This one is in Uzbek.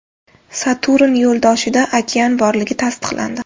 Saturn yo‘ldoshida okean borligi tasdiqlandi.